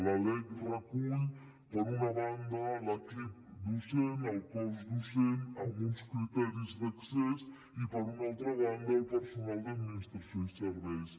la lec recull per una banda l’equip docent el cos docent amb uns criteris d’accés i per una altra banda el personal d’administració i serveis